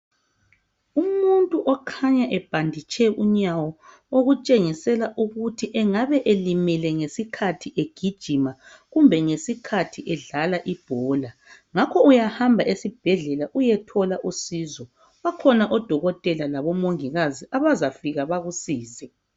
Umuntu okhanya ebhanditshe unyawo okutshengisela ukuthi engaba elimele ngesikhathi egijima kumbe ngesikhathi edlala ibhola ngakho uyahamba esibhedlela uyethola usizo bakhona odokotela labo mongikazi abazafika bakusize.